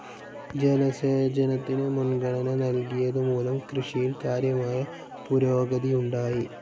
ജലസേചനത്തിന് മുൻഗണന നൽകിയതുമൂലം കൃഷിയിൽ കാര്യമായ പുരോഗതിയുണ്ടായി.